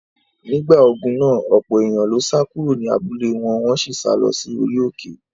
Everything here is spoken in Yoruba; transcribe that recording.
Nígbà ogun náà, ọ̀pọ̀ èèyàn ló sá kúrò ní abúlé wọn, wọ́n sì sá lọ sí orí òkè.